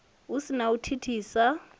hu si na u thithisa